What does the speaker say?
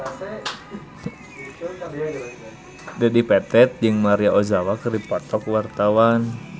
Dedi Petet jeung Maria Ozawa keur dipoto ku wartawan